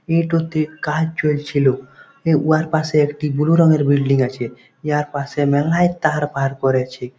এটোতে কাজ চলছিল। উহার পাশে একটি ব্লু রংয়ের বিল্ডিং আছে। এয়ার পাশে মেলায় তার বার করেছে।